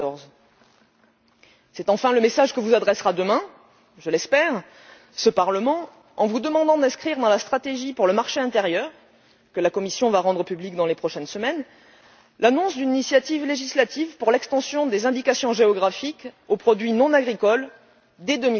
2014. C'est enfin le message que vous adressera demain, je l'espère, ce Parlement en vous demandant d'inscrire dans la stratégie pour le marché intérieur, que la Commission va rendre publique dans les prochaines semaines, l'annonce d'une initiative législative pour l'extension des indications géographiques aux produits non agricoles dès